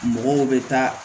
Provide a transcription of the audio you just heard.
Mɔgɔw bɛ taa